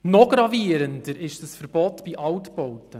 Noch gravierender ist dieses Verbot bei Altbauten.